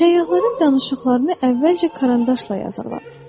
Səyyahların danışıqlarını əvvəlcə karandaşla yazırlar.